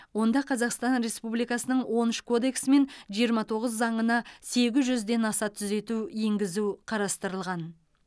онда қазақстан республикасының он үш кодексі мен жиырма тоғыз заңына сегіз жүзден аса түзету енгізу қарастырылған